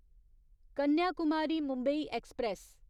Kanyakumari Mumbai express